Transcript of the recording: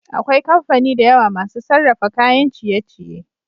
akwai kamfani dayawa masu sarrafa kayan ciye ciye